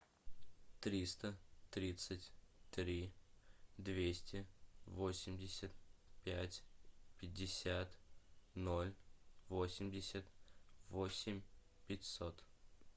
триста тридцать три двести восемьдесят пять пятьдесят ноль восемьдесят восемь пятьсот